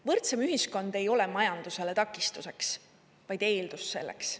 Võrdsem ühiskond ei ole majandusele takistuseks, vaid eeldus selleks.